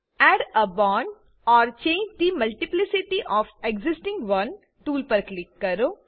add a bond or change the multiplicity of existing one tool પર click કરો